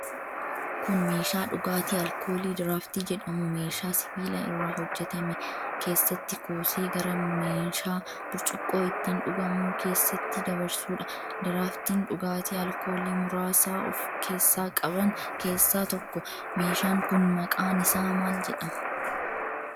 Kun, meeshaa dhugaatii alkoolii diraaftii jedhamu meeshaa sibiila irraa hojjatame keessatti kuusee gara meeshaa burcuqqoo ittiin dhugamuu keessatti dabarsuu dha. Diraaftiin dhugaatii alkoolii muraasa of keessaa qaban keessa tokko. Meeshaan kun, maqaan isaa maal jedhama?